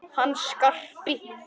Hann Skarpi?